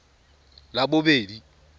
labobedi